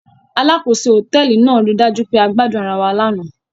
Alákòóso hòtẹ́ẹ́lì náà ri dájú pé a gbadun ara wa lánàá.